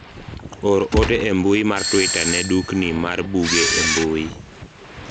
or ote e mbui mar twita ne dukni mar buge e mbui